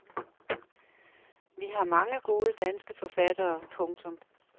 Vi har mange gode danske forfattere. punktum